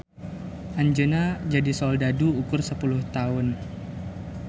Anjeunna jadi soldadu ukur sapuluh taun.